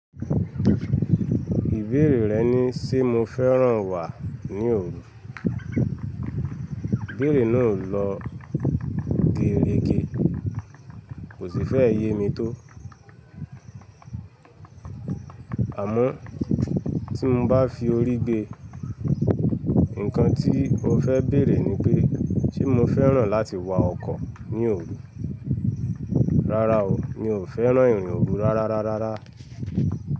Ìbéèrè rẹ ní ṣe mo fẹ́ràn wà ní òru. Béèrè náà lọ gérege, kò sì fẹ́ yé mi tó. Àmọ́ tí mo bá fi orí gbe, nǹkan tí o fẹ́ bèèrè ni pé, ṣe mo fẹ́ràn láti wa ọkọ ní òru? Rárá o, mi ò fẹ́ràn irin òru rárárárára.